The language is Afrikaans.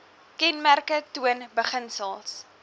kenmerke toon beginsels